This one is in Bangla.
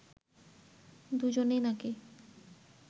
দুজনেই নাকি